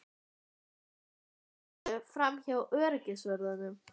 Hvernig kemstu framhjá öryggisvörðunum?